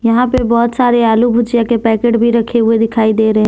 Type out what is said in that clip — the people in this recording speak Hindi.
यहां पे बहोत सारे आलू भुजिया के पैकेट भी रखे हुए दिखाई दे रहे--